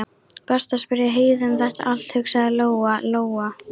Best að spyrja Heiðu um þetta allt, hugsaði Lóa Lóa.